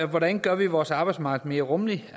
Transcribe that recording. hvordan gør vi vores arbejdsmarked mere rummeligt